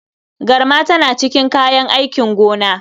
Garma tana cikin kayan aikin gona.